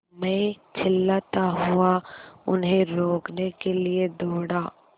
मैं चिल्लाता हुआ उन्हें रोकने के लिए दौड़ा